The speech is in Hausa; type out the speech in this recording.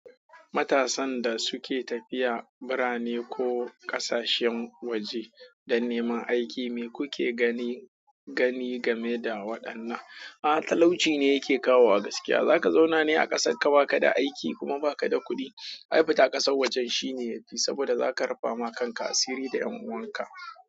Matasan da suke tafiya birane ko ƙasashen waje don neman aiki, me kuke gani gani game da waɗannan? A'a talauci ne yake kawo wa gaskiya. Zaka zauna ne a ƙasar ka baka da aiki kuma baka da kuɗi? Ai fita ƙasar wajen shi ne yafi, saboda zaka rufama kanka asiri da 'yan uwanka.